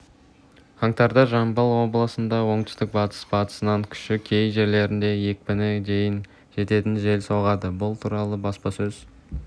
қаңтарда жамбыл облысында оңтүстік-батыс батыстан күші кей жерлерде екпіні дейін жететін жел соғады бұл туралы баспасөз